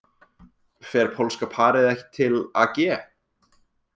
Fer pólska parið ekki til AG